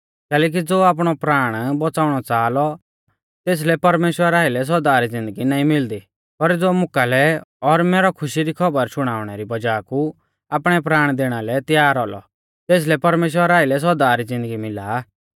कैलैकि ज़ो आपणौ प्राण बौच़ाउणौ च़ाहा लौ तेसलै परमेश्‍वरा आइलै सौदा री ज़िन्दगी नाईं मिलदी पर ज़ो मुकालै और मैरौ खुशी री खौबर शुणाउणै री बज़ाह कु आपणै प्राण दैणा लै तैयार औलौ तेसलै परमेश्‍वरा आइलै सौदा री ज़िन्दगी मिला आ